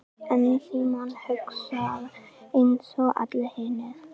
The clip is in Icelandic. En Símon hugsar einsog allir hinir.